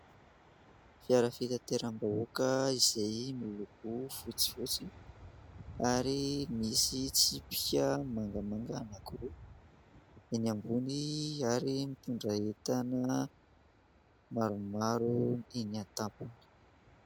Fiara fitanteram-bahoaka izay miloko fotsifotsy ary misy tispika mangamanga anankiroa eny ambony ary mitondra entana maromaro eny an-tampony.